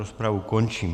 Rozpravu končím.